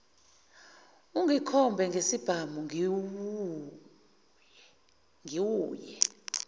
ungikhombe ngesibhamu ngiwuye